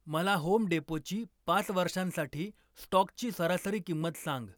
मला होम डेपोची पाच वर्षांसाठी स्टॉकची सरासरी किंमत सांग